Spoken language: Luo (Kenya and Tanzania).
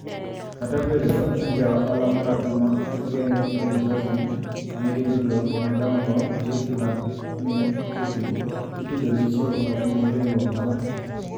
kata obedo ni jaohala marahuma Evgeny Prigozhin manigi tudruok madonngo gi Vladmir Putin itudo gi chiwo kony ni riwruok mar